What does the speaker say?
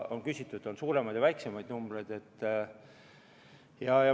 On suuremaid ja väiksemaid numbreid.